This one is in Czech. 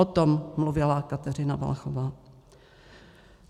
O tom mluvila Kateřina Valachová.